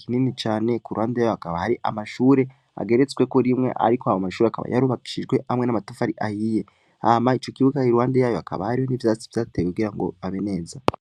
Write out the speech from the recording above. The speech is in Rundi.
kinini cane, iruhande yaho hakaba hari amashure ageretsweko rimwe, ariko ayo mashure akaba yarubakishijwe hamwe n'amatafari ahiye, hama ico kibuga haruhande yayo, hakaba hariho n'ivyatsi bahateye kugira ngo habe neza.